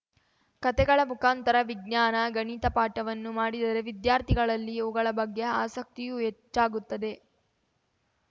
ಕಥೆಗಳ ಮುಖಾಂತರ ವಿಜ್ಞಾನ ಗಣಿತ ಪಾಠವನ್ನು ಮಾಡಿದರೆ ವಿದ್ಯಾರ್ಥಿಗಳಲ್ಲಿ ಇವುಗಳ ಬಗ್ಗೆ ಆಸಕ್ತಿಯೂ ಹೆಚ್ಚಾಗುತ್ತದೆ